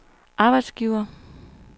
arbejdsgivere